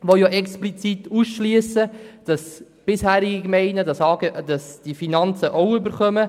Diese schliessen nämlich explizit aus, dass bisherige Gemeinden die Finanzen auch erhalten.